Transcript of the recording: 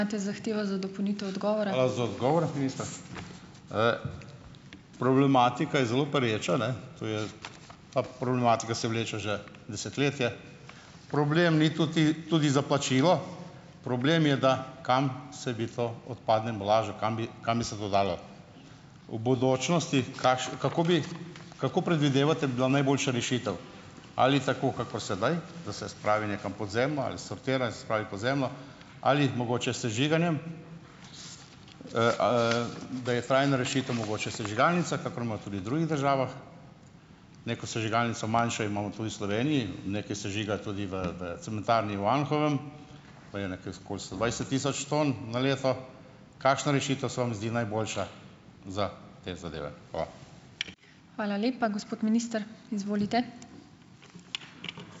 za odgovor, minister. Problematika je zelo pereča, ne. To je, problematika se vleče že desetletje. Problem ni tudi za plačilo. Problem je, da kam se bi to odpadno embalažo dalo, kam bi, kam bi se to dalo. V bodočnosti, kako bi, kako predvidevate, bi bila najboljša rešitev? Ali tako kakor sedaj, da se spravi nekam pod zemljo, ali sortira in spravi pod zemljo ali mogoče s sežiganjem? Da je trajna rešitev mogoče sežigalnica, kakor imajo tudi drugih državah. Neko sežigalnico manjšo imamo tudi v Sloveniji. Nekaj sežiga tudi v, v cementarni v Anhovem. Okoli sto dvajset tisoč ton na leto. Kakšna rešitev se vam zdi najboljša za te zadeve?